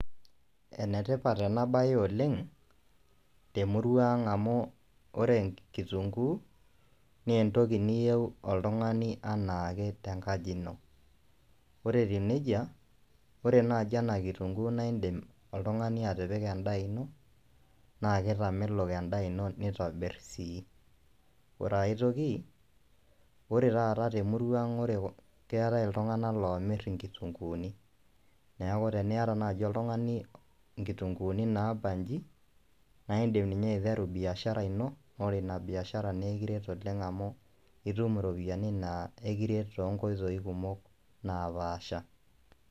Enetipat ena baye oleng temurua ang amu ore kitunkuu naa entire niyieu oltung'ani tenkaji ino ore eyia nejia naa indiim atipika endaa ino naa keitamelon endaa ino naitobir sii ore taata te murua aang keetai iltung'anak loomir inkitunkuuni neeku teniata naaji oltung'ani inkitunkuuni naabaji naa indiim aiteru biashara ino naa ore ina biashara naa ekiret amu ore ina biashara ino itum iropiyiani naa ekiret toonkoitoi kumok naapasha.